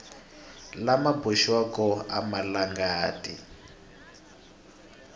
lama boxiwaka a ma talangi